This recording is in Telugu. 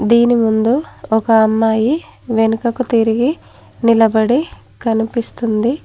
దీని ముందు ఒక అమ్మాయి వెనుకకు తిరిగి నిలబడి కనిపిస్తుంది.